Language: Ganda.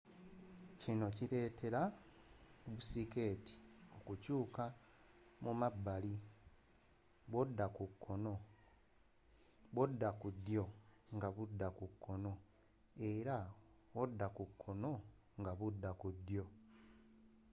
kino kiletela bu siketi okukyuka mu mabbali bwokyusa n'odda ku ddyo nga budda kukoono era wodda ku koono nga budda ku ddyo